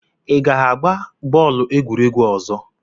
Ị ga-agba bọọlụ n'egwuregwu ọzọ?